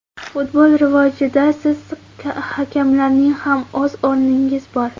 Futbol rivojida siz hakamlarning ham o‘z o‘rningiz bor.